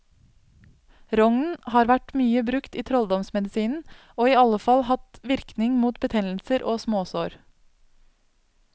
Rognen har vært mye brukt i trolldomsmedisinen, og iallfall hatt virkning mot betennelser og småsår.